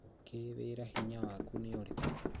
kĩĩwĩra hinya waku nĩurĩku?